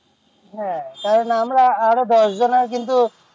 হ্যাঁ তাহলে আমরা আরো দশ জানা কিন্তু